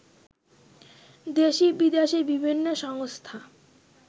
দেশি-বিদেশি বিভিন্ন সংস্থা